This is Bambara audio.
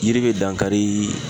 Yiri be dankari